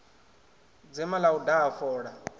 dzema ḽa u daha fola